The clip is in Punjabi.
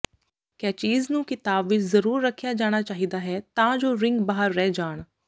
ਕੈਚੀਜ਼ ਨੂੰ ਕਿਤਾਬ ਵਿੱਚ ਜ਼ਰੂਰ ਰੱਖਿਆ ਜਾਣਾ ਚਾਹੀਦਾ ਹੈ ਤਾਂ ਜੋ ਰਿੰਗ ਬਾਹਰ ਰਹਿ ਜਾਣ